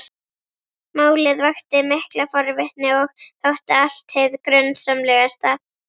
Málið vakti mikla forvitni og þótti allt hið grunsamlegasta.